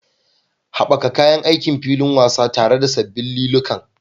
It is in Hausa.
Haɓaka kayan aikin filin wasa tare da sabbin liliukan.